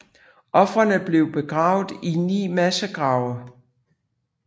Ofrene blev begravet i ni massegrave